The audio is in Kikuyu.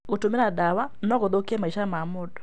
Gũtũmĩra ndawa no gũthũkie maica ma mũndũ.